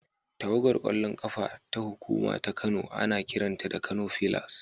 Tawagar ƙwallon ƙafa ta hukuma ta Kano ana kiranta da Kano fillars.